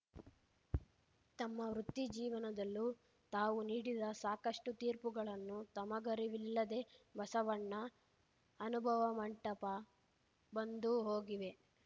ತಮ್ಮ ವೃತ್ತಿ ಜೀವನದಲ್ಲೂ ತಾವು ನೀಡಿದ ಸಾಕಷ್ಟುತೀರ್ಪುಗಳನ್ನು ತಮಗರಿವಿಲ್ಲದೆ ಬಸವಣ್ಣ ಅನುಭವ ಮಂಟಪ ಬಂದು ಹೋಗಿವೆ